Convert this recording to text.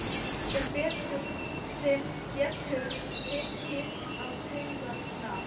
Sem getur tekið á taugarnar.